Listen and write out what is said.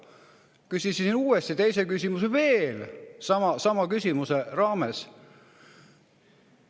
" Küsisin uuesti, teise küsimuse veel sama küsimuse raames.